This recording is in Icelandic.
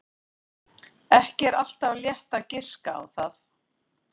Ekki er alltaf létt að giska á það.